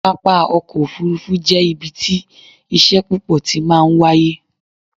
pápá ọkọ̀ òfurufú jẹ́ ibi tí iṣẹ́ púpọ̀ ti máa ń wáyé